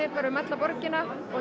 um alla borgina og